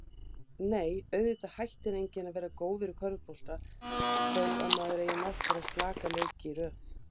Frábærlega vel gerðir þættir